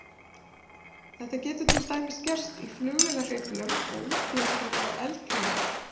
Þetta getur til dæmis gerst í flugvélahreyflum og útblæstri frá eldflaugum.